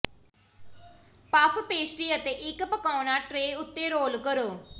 puff pastry ਅਤੇ ਇੱਕ ਪਕਾਉਣਾ ਟ੍ਰੇ ਉੱਤੇ ਰੋਲ ਕਰੋ